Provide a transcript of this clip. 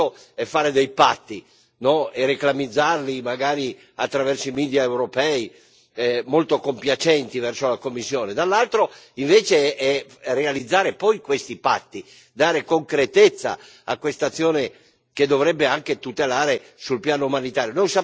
Un conto è fare dei patti e reclamizzarli, magari attraverso i media europei molto compiacenti verso la Commissione, un conto, invece, è realizzare poi questi patti, dare concretezza a questa azione che dovrebbe anche tutelare sul piano umanitario.